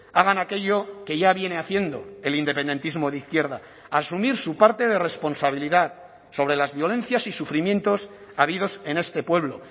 hagan aquello que ya viene haciendo el independentismo de izquierda asumir su parte de responsabilidad sobre las violencias y sufrimientos habidos en este pueblo